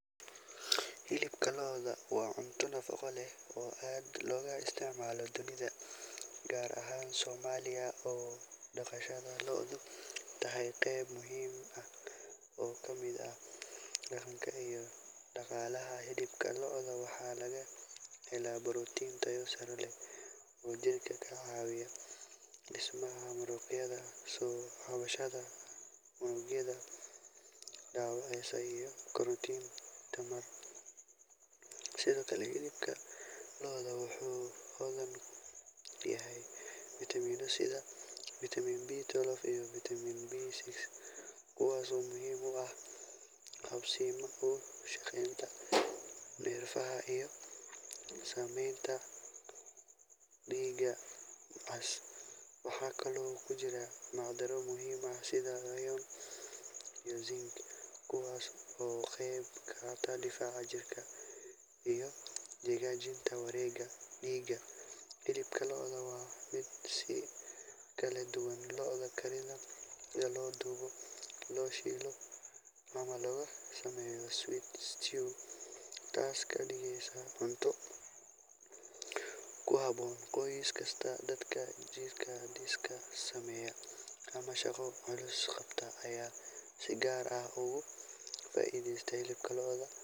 Hilibka lo’da waa cunto nafaqo leh oo aad looga isticmaalo dunida, gaar ahaan Soomaaliya oo dhaqashada lo’du tahay qayb muhiim ah oo ka mid ah dhaqanka iyo dhaqaalaha. Hilibka lo’da waxaa laga helaa borotiin tayo sare leh oo jirka ka caawiya dhismaha muruqyada, soo kabashada unugyada dhaawacmay iyo korinta tamarta. Sidoo kale, hilibka lo’da wuxuu hodan ku yahay fiitamiino sida Vitamin B12 iyo Vitamin B6, kuwaasoo muhiim u ah habsami u shaqaynta neerfaha iyo samayska dhiigga cas. Waxaa kaloo ku jira macdano muhiim ah sida iron iyo zinc, kuwaasoo ka qeyb qaata difaaca jirka iyo hagaajinta wareegga dhiigga. Hilibka lo’da waa mid si kala duwan loo kariyo sida la dubo, la shiilo ama laga sameeyo stew, taasoo ka dhigaysa cunto ku habboon qoys kasta. Dadka jidh-dhis sameeya ama shaqo culus qabta ayaa si gaar ah ugu faa’iideysta hilibka lo’da.